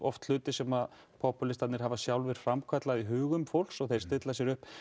hlutir sem poppúlistarnir hafa sjálfir framkallað í hugum fólks þeir stilla sér upp